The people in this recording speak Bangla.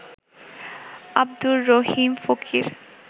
আব্দুর রহিম ফকির